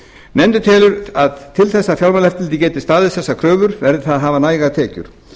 nefndin telur að til þess að fjármálaeftirlitið geti staðist þessar kröfur verði það að hafa nægar tekjur